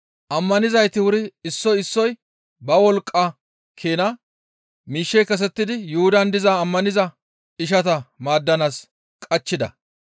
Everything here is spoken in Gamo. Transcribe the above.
Ammanizayti wuri issoy issoy ba wolqqa keena miishshe kesettidi Yuhudan diza ammaniza ishata maaddanaas qachchida.